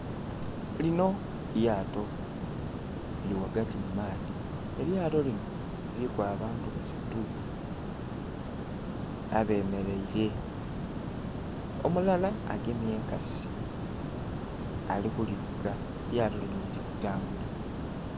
Linho lyato liri ghagati mumaadhi, elyato linho liri abantu basatu abemereire, omulala agemye enkasi alikulivuga, elyato linho lirikutambula.